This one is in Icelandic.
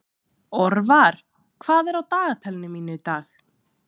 Orvar, hvað er á dagatalinu mínu í dag?